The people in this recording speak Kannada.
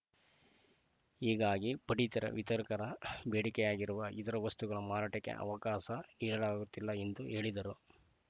ಹೀಗಾಗಿ ಪಡಿತರ ವಿತರಕರ ಬೇಡಿಕೆಯಾಗಿರುವ ಇತರೆ ವಸ್ತುಗಳ ಮಾರಾಟಕ್ಕೆ ಅವಕಾಶ ನೀಡಲಾಗುತ್ತಿಲ್ಲ ಎಂದು ಹೇಳಿದರು